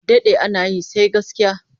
A daɗe ana yi, sai gaskiya.